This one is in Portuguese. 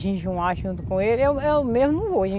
Jejuar junto com ele, eu eu mesmo não vou